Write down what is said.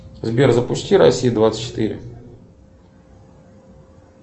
сбер запусти россия двадцать четыре